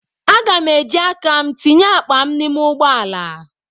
Aga m eji aka m tinye akpa m n'ime ụgbọ ala